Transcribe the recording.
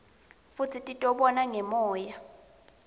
futsi titibona ngemoya